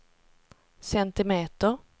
centimeter